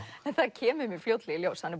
en það kemur fljótlega í ljós hann